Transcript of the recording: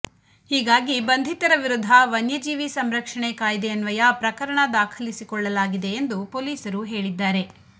ಹೀಗಾಗಿ ಬಂಧಿತರ ವಿರುದ್ಧ ವನ್ಯಜೀವಿ ಸಂರಕ್ಷಣೆ ಕಾಯ್ದೆ ಅನ್ವಯ ಪ್ರಕರಣ ದಾಖಲಿಸಿಕೊಳ್ಳಲಾಗಿದೆ ಎಂದು ಪೊಲೀಸರು ಹೇಳಿದ್ದಾರೆ